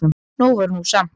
Nóg var nú samt.